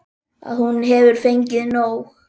Að hún hefur fengið nóg.